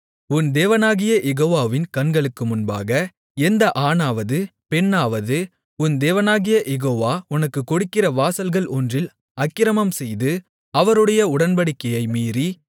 உன் தேவனாகிய யெகோவாவின் கண்களுக்கு முன்பாக எந்த ஆணாவது பெண்ணாவது உன் தேவனாகிய யெகோவா உனக்குக் கொடுக்கிற வாசல்கள் ஒன்றில் அக்கிரமம்செய்து அவருடைய உடன்படிக்கையை மீறி